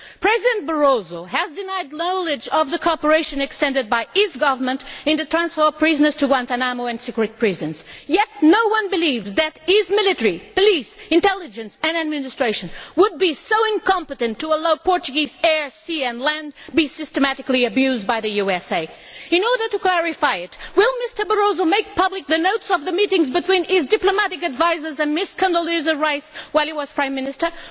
President Barroso has denied knowledge of the cooperation provided by his government in the transfer of prisoners to Guantánamo and secret prisons, yet no one believes that his military, police, intelligence and administration would be so incompetent as to allow Portuguese air, sea and land to be systematically abused by the USA. In order to clarify this, will Mr Barroso make public the notes of the meetings between his diplomatic advisers and Ms Condoleezza Rice while he was Prime Minister?